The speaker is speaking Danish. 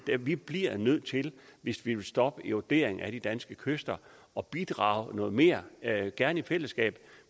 vi bliver nødt til hvis vi vil stoppe eroderingen af de danske kyster at bidrage noget mere gerne i fællesskab